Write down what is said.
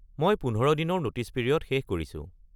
মই ১৫ দিনৰ notice period শেষ কৰিছো।